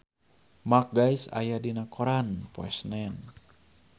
Mark Gatiss aya dina koran poe Senen